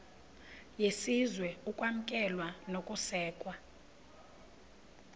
yesizwe ukwamkelwa nokusekwa